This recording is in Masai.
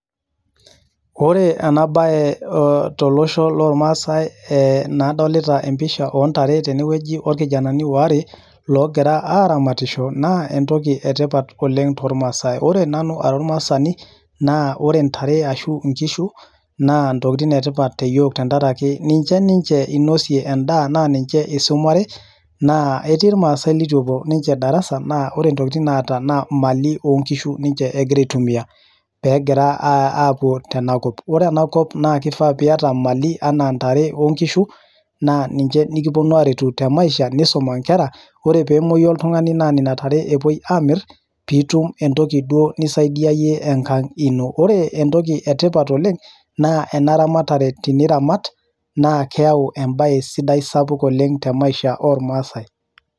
Ore ena bae tolosho loo Maasai eee nadolita episha oo ndare tene orkijanani waare Ogira aramatisho naa entoki etipat oleng toormasai ore nanu ara ormaasani naa ore ndare ashu inkishu naa entoki etipat oleng te yiook te diaraki ninche ninche inosie endaa naa ninche isumare naa etii irmaasi letupuo ninche darasa naa kore ninche naa Mali oo ngishu ninche eeta naa ninche enagira aitumia, peegira apuo tena kop ore ena kop naa kifaa piata mali oo gishu naa ninche nikipuonu aretu te maisha nisuma inkera ore peemoyu oltungani naa nina tare epoi aamirr pitum entoki ni saidiaye enkang ino, ore entoki etipat oleng naa ena ramatare enare niramat naa keyau embae sapuk sidai tenkop oormasai .